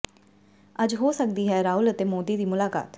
ਅੱਜ ਹੋ ਸਕਦੀ ਹੈ ਰਾਹੁਲ ਅਤੇ ਮੋਦੀ ਦੀ ਮੁਲਾਕਾਤ